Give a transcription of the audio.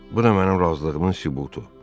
Bu da mənim razılığımın sübutu.